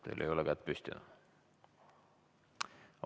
Teil ei ole kätt püsti.